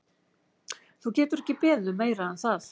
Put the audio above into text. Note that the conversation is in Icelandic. Þú getur ekki beðið um meira en það.